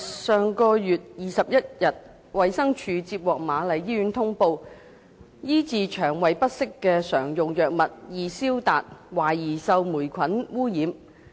上月21日，衞生署接獲瑪麗醫院通報，醫治腸胃不適的常用藥物"易消達"，懷疑受霉菌污染。